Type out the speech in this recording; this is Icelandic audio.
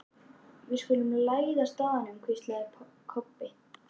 Við skulum læðast að honum, hvíslaði Kobbi.